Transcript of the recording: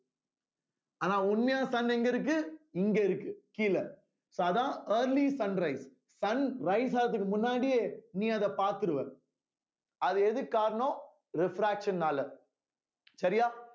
ஆனா உண்மையான sun எங்க இருக்கு இங்க இருக்கு கீழே so அதான் early sun rise sun rise ஆவதற்கு முன்னாடியே நீ அத பாத்துருவ அது எதுக்கு காரணம் refraction னால சரியா